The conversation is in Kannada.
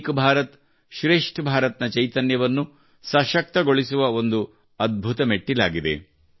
ಏಕ್ ಭಾರತ್ ಶ್ರೇಷ್ಠ್ ಭಾರತ್ ನ ಚೈತನ್ಯವನ್ನು ಸಶಕ್ತಗೊಳಿಸುವ ಒಂದು ಅದ್ಭುತ ಮೆಟ್ಟಿಲಾಗಿದೆ